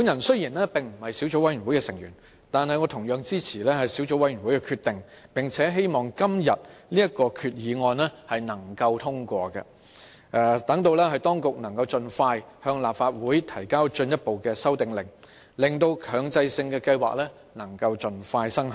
雖然我並非小組委員會的成員，但也支持小組委員會的決定，並希望今天這項決議案獲得通過，讓當局能夠盡快向立法會提交進一步的修訂令，以便強制性標籤計劃盡早生效。